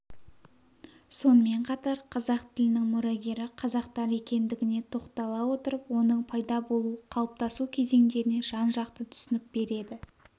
сонымен қатар қазақ тілінің мұрагері қазақтар екендігіне тоқтала отырып оның пайда болу қалыптасу кезеңдеріне жан-жақты түсінік береді